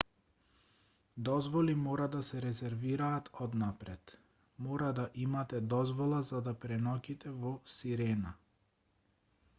дозволи мора да се резервираат однапред мора да имате дозвола за да преноќите во сирена